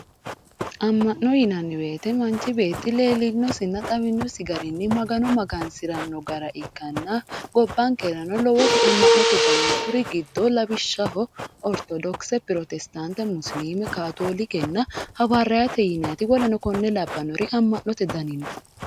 amma'no yinanni woyiite manchu beetti lellinnosinna xawinnossi garinni magano magansirano gara ikkanna gobankerano lowoti ama'note dani no kuri giddo lawishaho ortodokise protestaante musiliime kaatoolikenna hawariyaate yinaniti woleno kone labanori ama'note dani no